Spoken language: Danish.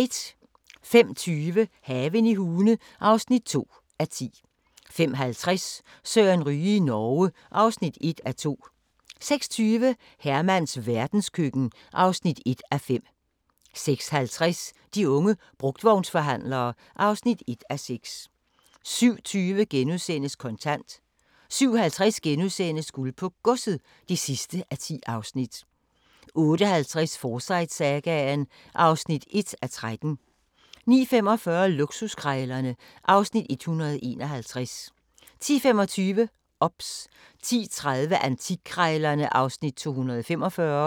05:20: Haven i Hune (2:10) 05:50: Søren Ryge i Norge (1:2) 06:20: Hermans verdenskøkken (1:5) 06:50: De unge brugtvognsforhandlere (1:6) 07:20: Kontant * 07:50: Guld på Godset (10:10)* 08:50: Forsyte-sagaen (1:13) 09:45: Luksuskrejlerne (Afs. 151) 10:25: OBS 10:30: Antikkrejlerne (Afs. 245)